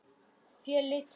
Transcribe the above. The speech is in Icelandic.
Þeir litu við.